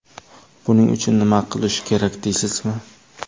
Buning uchun nima qilish kerak deysizmi?